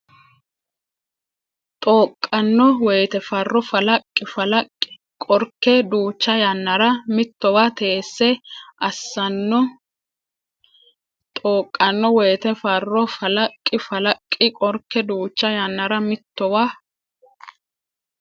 Xooqanno woyte farro falaqqi falaqqi Qorke duucha yannara mittowa teesse assanno Xooqanno woyte farro falaqqi falaqqi Qorke duucha yannara mittowa.